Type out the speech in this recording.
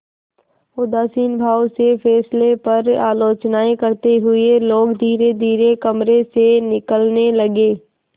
उदासीन भाव से फैसले पर आलोचनाऍं करते हुए लोग धीरेधीरे कमरे से निकलने लगे